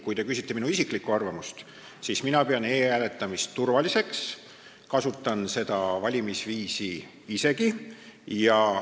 Kui te küsite minu isiklikku arvamust, siis mina pean e-hääletamist turvaliseks, kasutan seda valimisviisi isegi.